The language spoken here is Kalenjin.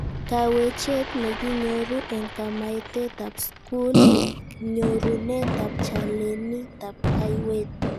Kawechet nekinyoru eng kametaetab skul eng nyorunetab chanelitab kayweet